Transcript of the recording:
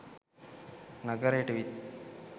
නගරයට විත්